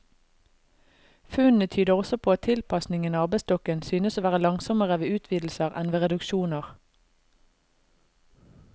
Funnene tyder også på at tilpasningen av arbeidsstokken synes å være langsommere ved utvidelser enn ved reduksjoner.